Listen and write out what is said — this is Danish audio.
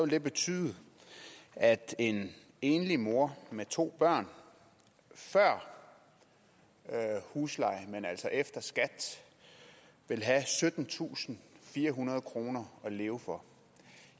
det betyde at en enlig mor med to børn før husleje men efter skat vil have syttentusinde og firehundrede kroner at leve for